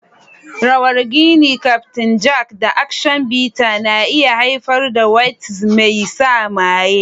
Rawar gin, Kyaftin Jack, da Action Bitter na iya haifar da waltz mai sa maye.